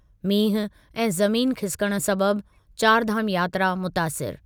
मींहुं ऐं ज़मीन खिसिकण सबबि चारिधाम यात्रा मुतासिरु।